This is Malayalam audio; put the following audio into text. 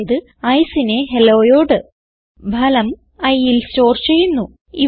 അതായത് Iceനെ Helloയോട് ഫലം iൽ സ്റ്റോർ ചെയ്യുന്നു